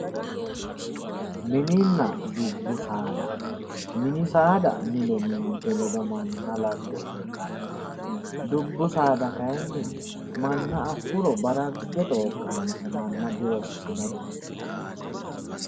Mininna dubbu saada ,mini saada mine ninke ledo manna labbe heedhanote dubbu saada kayinni manna afuro barage xooqanote manna dirosinote